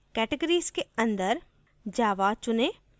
categories के अंदर java चुनें